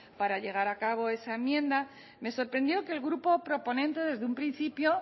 para llevar a cabo esa enmienda me sorprendió que el grupo proponente desde un principio